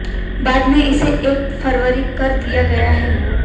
बाद में इसे एक फरवरी कर दिया गया है